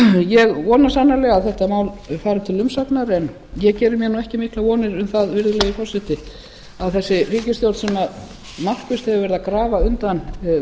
ég vona sannarlega að þetta mál fari til umsagnar en ég geri mér ekki miklar vonir um það virðulegi forseti að þessi ríkisstjórn sem markvisst hefur verið að grafa undan